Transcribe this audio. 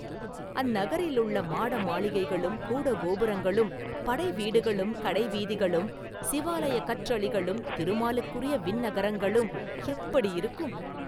அந்நகரிலுள்ள மாடமாளிகைகளும் கூட கோபுரங்களும் படை வீடுகளும் கடைவீதிகளும் சிவாலயக் கற்றளிகளும் திருமாலுக்குரிய விண்ணகரங்களும் எப்படியிருக்கும்?